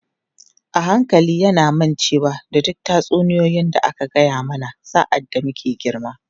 A hankali yana mancewa da duk tatsuniyoyi da aka gaya mana sa’ad da muke girma.